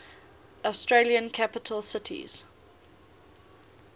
australian capital cities